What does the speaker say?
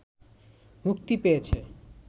মুক্তি পেয়েছে